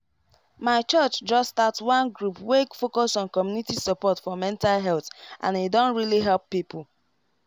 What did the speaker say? my church just start one group wey focus on community support for mental health and e don really help people